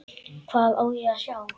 Hvað á ég að sjá?